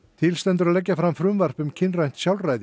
til stendur að leggja fram frumvarp um kynrænt sjálfræði